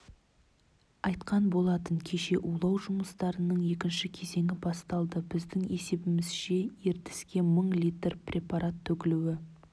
айтқан болатын кеше улау жұмыстарының екінші кезеңі басталды біздің есебімізше ертіске мың литр препарат төгілуі